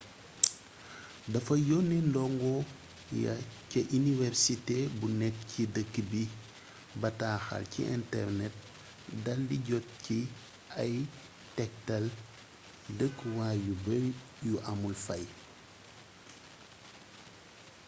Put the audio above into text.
dafa yonee ndongo ya ca iniwersité bu nekk ci dëkk bi bataaxal ci internet dal di jot ci ay tektal dëkkuwaay yu bari yu amul fay